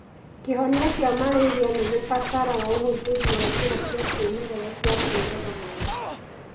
Kĩhonia kĩa marĩrĩa nĩgĩbatara ũhũthĩri wa njira cia kĩmerera cia kũraga rwagĩ